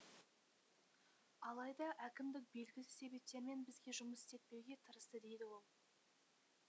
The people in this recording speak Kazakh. алайда әкімдік белгісіз себептермен бізге жұмыс істетпеуге тырысты дейді ол